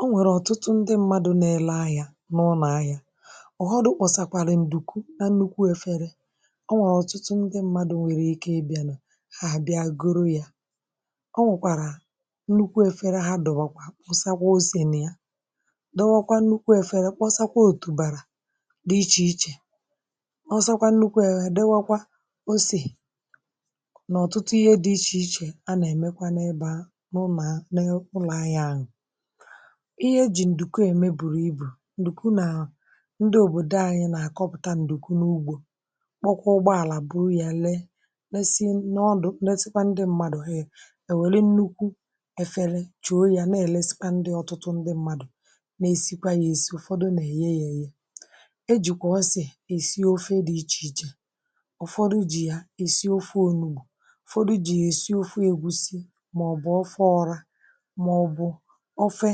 Ọ nwèrè ọ̀tụtụ ndị mmadụ̇ nà-ere ahịhịa n’úno ahịhịa, ọ̀ họdụ kpọ̀sàkwàrị̀ ǹdùku nà nnukwu efere, ọ nwèrè ọ̀tụtụ ndị mmadụ̇ nwèrè ike ịbịȧnu, hà bịa goro yȧ, ọ nwekwàrà nnukwu efere ha dọ̀bàkwà kposakwa ose nà ya, dàwakwa nnukwu efere kpọsakwa òtù bàrà dị ichè ichè, kposakwa nnukwu efere, dewakwa ose nà ọ̀tụtụ ihe dị̇ ichè ichè a nà-èmekwa n’ebe a n’úlo ahia ahụ, ihe ejì ǹdùku ème bùrù ibù, ǹdùku nà ndị òbòdo anyị nà-àkọpụ̀ta ǹdùku n’ugbò, kpokwuo ụgbọàlà bụrụ ya lee, resi n’ ọdụ resikwa ndị mmadụ ha nwelu nnukwu efere chụọ ya na eresikwa ọtụtụ ndị mmadụ, na-esikwa ya èsi, ụ̀fọdụ nà-èye èye, ejìkwà ọse èsi ofe dị̇ ichè ichè, ọ̀tụtụ jì ya èsi ofe onugbù, ọ̀tụtụ jì ya èsi ofe ègusi, màọbụ̀ ofe ọra, màọbụ̀ ofe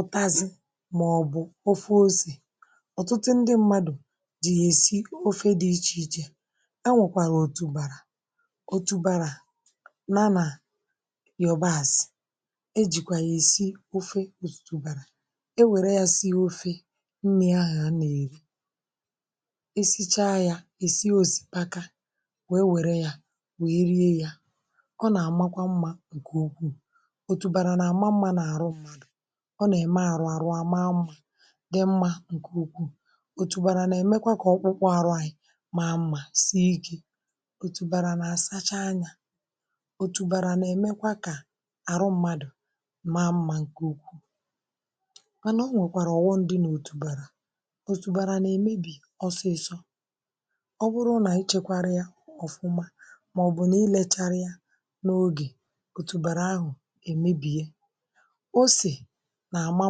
utazi, màọbụ ofe ose, ọ̀tụtụ ndị mmadụ̀ jì yà èsi ofe dị ichè ichè e nwèkwàrà òtùbàrà, otubàrà ya nà yọ̀bàsị̀, ejìkwà yà èsi ofe òtùtụbàrà, nwere ya sie ofe nri ahụ̀ a nà-èri, esichaa yȧ, èsịa òsìpaka wee wère yȧ wee rie yȧ, ọ nà-àmakwa mmȧ nke ukwuu, otubàrà na ama nma na arụ mmadụ, ọ nà-ème àrụ, àrụ àma mmȧ dị mmȧ ǹkè ukwuù, òtùbàrà nà-èmekwa kà ọ kpụkpọ àrụ ànyị ma mmȧ si ike, òtùbàrà nà-asacha anya, òtùbàrà nà-èmekwa kà àrụ mmadụ ma mmȧ ǹkè ukwuù, mànà o nwèkwàrà ọ̀ghọm ndị nà òtùbàrà, òtùbàrà nà-èmebì ọsịsọ, ọ bụrụ nà ichëkwara ya ọ̀fụma màọbụ̀ na-ilechara ya n’ogè, òtùbàrà ahụ èmebìe, ose na ama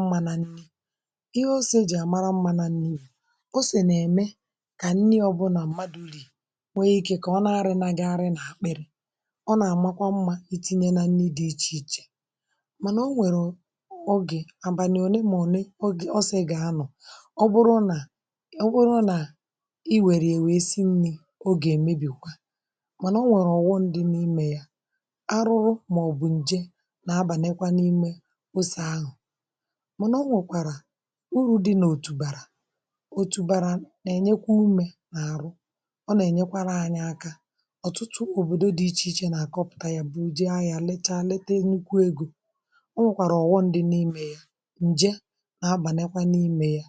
mma nà nri, ihe ose ji amara mma na nri bụ, ose nà-eme ka nri ọbụna m̀madụ̇ rì nwee ike kà ọ na-arịna gị arị na àkpịrị, ọ nà-àmakwa mmȧ i tinye na nri dị ichè ichè, mànà o nwèrè ogè àbànị òne mà ọ̀ne ose ga-anọ, ọ bụrụ na, ọ bụ na i onwelo ya wee sie nri, ogè èmebìkwa, mànà o nwèrè ọ̀hom dị n’imė yȧ, arụrụ mà ọ̀ bụ̀ ǹje na abàlekwa n’ime ose ahụ, mana onwekwala uru dị n’òtùbàrà, òtùbàrà nà-ènyekwa umė n’àrụ, ọ nà-ènyekwara anyị aka, ọtụtụ òbòdo dị ichè ichè nà-àkọpụ̀ta ya bụ̀ru jie ahịa lechaa, lete nnukwu egȯ, o nwèkwàrà ọ̀ghọm ndị n’imė ya ǹje na-abànịkwa n’imė ya.